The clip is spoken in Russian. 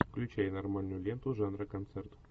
включай нормальную ленту жанра концерт